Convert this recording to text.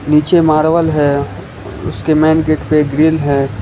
पीछे मार्बल है उसके मेन गेट पे ग्रिल है।